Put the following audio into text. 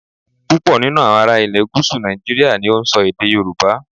Púpọ̀ nínú àwọn ará ilè gúúsù Nàìjíríà ni ó n so èdè Yorùbá